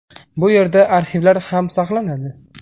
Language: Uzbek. Bu yerda arxivlar ham saqlanadi.